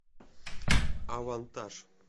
авантаж